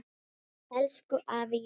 Elsku afi Jón.